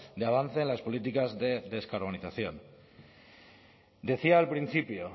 de avance en las políticas de descarbonización decía al principio